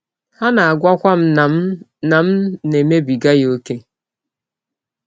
Ha na - agwakwa m na m na - m na - emebiga ya ọ́kè.